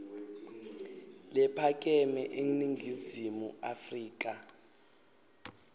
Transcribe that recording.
lephakeme eningizimu afrika